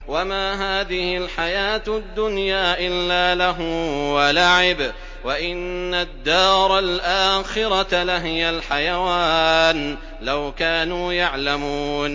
وَمَا هَٰذِهِ الْحَيَاةُ الدُّنْيَا إِلَّا لَهْوٌ وَلَعِبٌ ۚ وَإِنَّ الدَّارَ الْآخِرَةَ لَهِيَ الْحَيَوَانُ ۚ لَوْ كَانُوا يَعْلَمُونَ